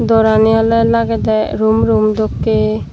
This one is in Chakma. dorani oley lagedey rum rum dokkey.